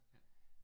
Ja